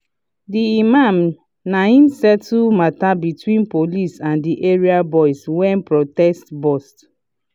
the imam nai settle matter between police and the area boys when protest burst.